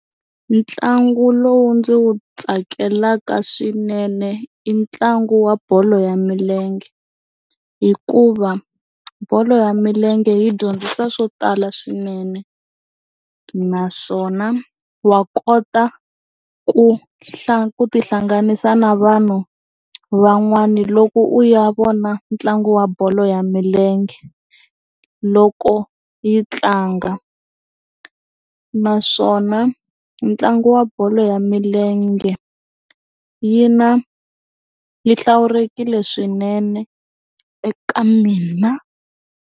Mitlangu lowu ndzi wu tsakelaka swinene i ntlangu wa bolo ya milenge hikuva bolo ya milenge yi dyondzisa swo tala swinene naswona wa kota ku ku ti hlanganisa na vanhu van'wana loko u ya vona ntlangu wa bolo ya milenge loko yi tlanga naswona ntlangu wa bolo ya milenge yi na yi hlawulekile swinene eka mina.